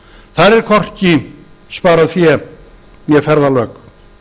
þar er hvorki sparað fé né ferðalög